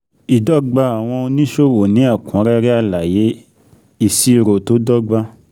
Ìdọ́gba àwọn oníṣòwò ní ẹ̀kúnrẹ́rẹ́ alaye, ìṣirò tó dọ́gba.